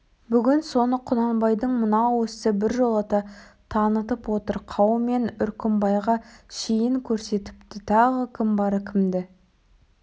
бүгін соны құнанбайдың мынау ісі біржолата танытып отыр қаумен үркімбайға шейін көрсетіпті тағы кім бар кімді